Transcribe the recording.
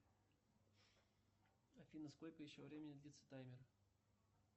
афина сколько еще времени длится таймер